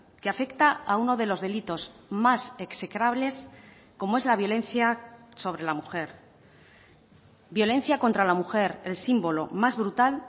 que afecta a uno de los delitos más execrables como es la violencia sobre la mujer violencia contra la mujer el símbolo más brutal